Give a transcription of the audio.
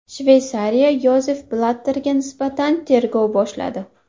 Shveysariya Yozef Blatterga nisbatan tergov boshladi.